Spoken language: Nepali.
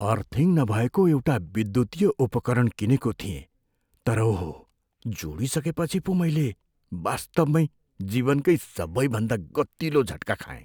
अर्थिङ नभएको एउटा विद्युतीय उपकरण किनेको थिएँ तर ओहो, जोडिसकेपछि पो मैले वास्तवमै जीवनकै सबैभन्दा गतिलो झट्का खाएँ।